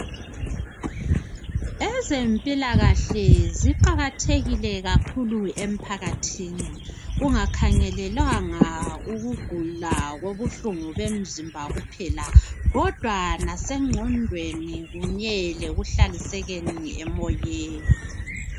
Ezempilakahle ziqakathekile kakhulu emphakathini kungakhangelelwanga ukugula kobuhlungu bemzimba kuphela kodwa lasengqondweni kunye lekuhlalisekeni emoyeni.